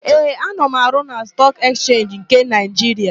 Ee, ana m arụ na Stọọk Ekchenji nke Naịjiria.